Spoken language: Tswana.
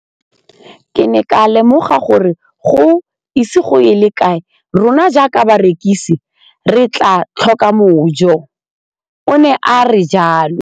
Ke ne ka lemoga gore go ise go ye kae rona jaaka barekise re tla tlhoka mojo, o ne a re jalo.